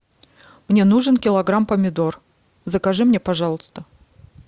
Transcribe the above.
мне нужен килограмм помидор закажи мне пожалуйста